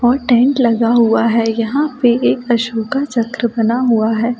और टेंट लगा हुआ है यहाँ पे एक अशोका चक्र बना हुआ है ।